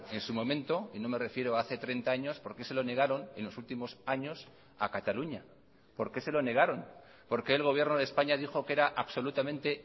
en su momento y no me refiero hace treinta años por qué se lo negaron en los últimos años a cataluña por qué se lo negaron por qué el gobierno de españa dijo que era absolutamente